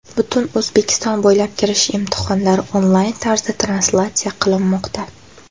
Butun O‘zbekiston bo‘ylab kirish imtihonlari onlayn tarzda translyatsiya qilinmoqda.